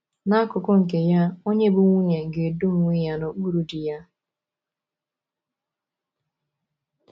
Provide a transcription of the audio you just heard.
N’akụkụ nke ya, onye bụ́ nwunye ga - edo onwe ya n’okpuru di ya.